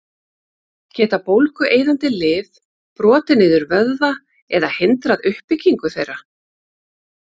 Geta bólgueyðandi lyf brotið niður vöðva eða hindrað uppbyggingu þeirra?